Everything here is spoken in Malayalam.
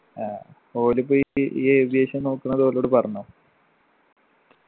ആ ഓലിപ്പോ ഇപ്പീ ഈ aviation നോക്കുന്നത് ഒലോട് പറഞ്ഞോ